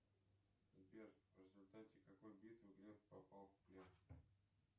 сбер в результате какой битвы глеб попал в плен